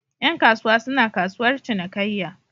Yan kasuwa suna kasuwar cinikayya